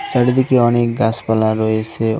চারিদিকে অনেক গাছপালা রয়েছে ও--